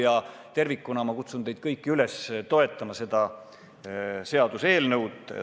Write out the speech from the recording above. Kokku võttes ma kutsun teid kõiki üles toetama seda seaduseelnõu.